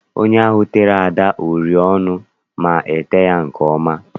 Onye ahụ tere Ada uri ọnụ ma ete ya nke ọma.